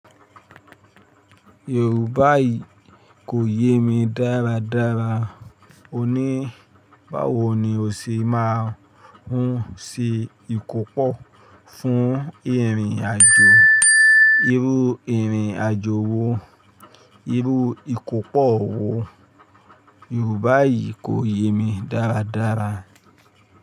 Yorùbá yìí kò yé mi dáradára. Ó ní, báwo ni o ṣe máa ń ṣe ìkópó fún ìrìn àjò? Irú ìrìn àjò wo? Irú ìkópó wo? Yorùbá yìí kò yé mi dáradára.